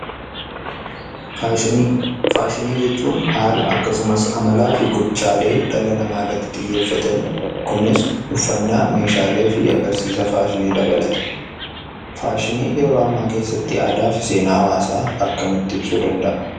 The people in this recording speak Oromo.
Faashinii. Faashinii jechuun haala akkasumaas amalaa fi gochalee dhala nama irratti xiyyefataan. Kunis uffana, meeshaalee fi agarsisaa faashinii dabalata. Faashinniin yeroo amma keessatti aadaa fi seenaa hawaasa akkamiti ibsuu dqnda'a?